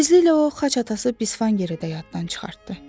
Tezliklə o xaç atası Bisfan Geridə yaddan çıxartdı.